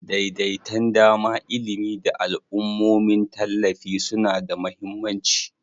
Daidaitan dama, ilimi, da al'ummomin tallafi suna da mahimmanci.